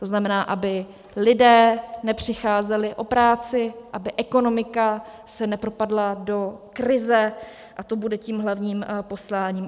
To znamená, aby lidé nepřicházeli o práci, aby ekonomika se nepropadla do krize, a to bude tím hlavním posláním.